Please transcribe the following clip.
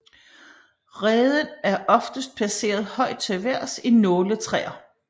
Reden er oftest placeret højt til vejrs i nåletræer